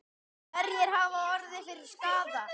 Hverjir hafa orðið fyrir skaða?